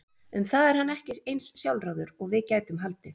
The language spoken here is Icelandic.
Um það er hann ekki eins sjálfráður og við gætum haldið.